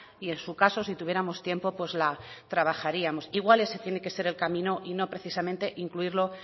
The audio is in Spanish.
y en su caso si tuviéramos tiempo pues la trabajaríamos igual ese tiene que ser el camino y no precisamente incluirlo